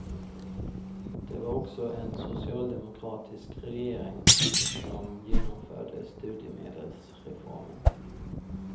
Det var också en socialdemokratisk regering som genomförde studiemedelsreformen.